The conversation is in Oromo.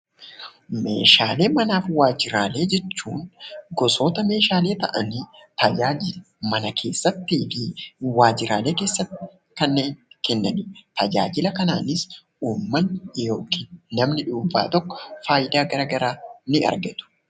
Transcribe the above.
Meeshaalee manaa fi waajjiraalee jechuun gosoota meeshaalee ta'anii tajaajila mana keessatti fi waajjiraalee keessatti kanneen tajaajilanidha. Tajaajila kanaanis uummatni yookiin namni dhuunfaa tokko faayidaa garaa garaaf ni argatu.